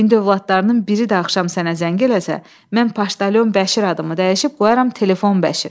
İndi övladlarının biri də axşam sənə zəng eləsə, mən Paşdalyon Bəşir adımı dəyişib qoyaram Telefon Bəşir.